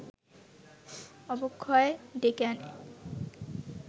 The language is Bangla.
অবক্ষয় ডেকে আনে